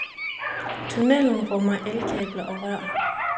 Tunnelen rummer elkabler og rør.